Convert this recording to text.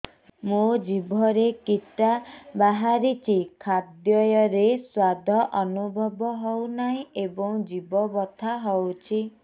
ମୋ ଜିଭରେ କିଟା ବାହାରିଛି ଖାଦ୍ଯୟରେ ସ୍ୱାଦ ଅନୁଭବ ହଉନାହିଁ ଏବଂ ଜିଭ ବଥା ହଉଛି